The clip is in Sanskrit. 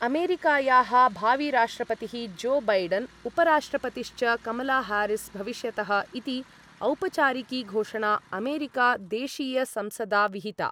अमेरिकायाः भाविराष्ट्रपतिः जो बैडन् उपराष्ट्रपतिश्च कमलाहारिस् भविष्यतः इति औपचारिकी घोषणा अमेरिका देशीयसंसदा विहिता